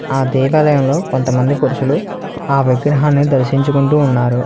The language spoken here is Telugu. ఆ దేవాలయంలో కొంతమంది పురుషులు ఆ విగ్రహాన్ని దర్శించుకుంటూ ఉన్నారు.